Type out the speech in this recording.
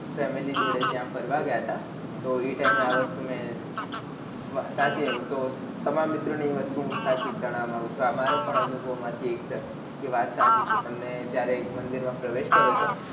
family જોડે ત્યાં ફરવા ગયા તા તો એ time એ આ વસ્તુ મેં સાચી તો તમારા એ મિત્ર ની એ વસ્તુ સચીજ ગણવા માંગું છુ આ મારો પણ અનુભવ માંથી એક છે એ વાત સાચી છે તમને જયારે મંદિર માં પ્રવેશ કરો છો